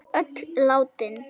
Öll látin.